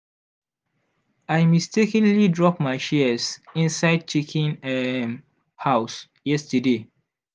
i mistakenly drop my shears inside chicken um house yesterday.